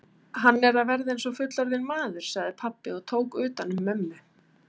Hann er að verða eins og fullorðinn maður, sagði pabbi og tók utan um mömmu.